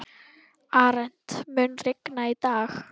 Arent, mun rigna í dag?